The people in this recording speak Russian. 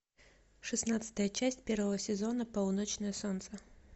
шестнадцатая часть первого сезона полуночное солнце